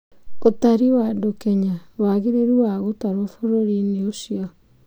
Sensa Kenya: wagĩrĩru wa gutarwo bũrũrinĩ ũcu